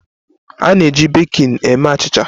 A-na eji bekịn eme achịcha.